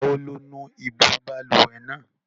Ìgbà wo lo nu ibú balùwẹ̀ náà?